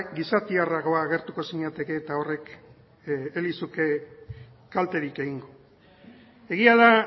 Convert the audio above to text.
gizatiarragoa agertuko zinateke eta horrek ez lizuke kalterik egingo egia da